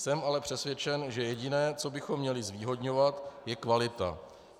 Jsem ale přesvědčen, že jediné, co bychom měli zvýhodňovat, je kvalita.